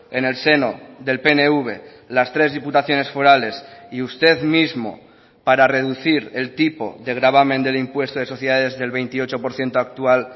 en el seno del pnv las tres diputaciones forales y usted mismo para reducir el tipo de gravamen del impuesto de sociedades del veintiocho por ciento actual